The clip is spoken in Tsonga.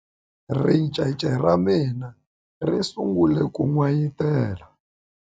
ricece ra mina ri sungule ku n'wayitela